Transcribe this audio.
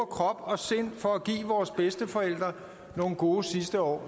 krop og sind for at give vores bedsteforældre nogle gode sidste år